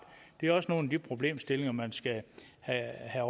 det er også nogle af de problemstillinger man skal have